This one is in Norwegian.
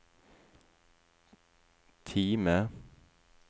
Time